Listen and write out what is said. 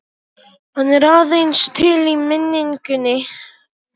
Hann er aðeins til í minningunni.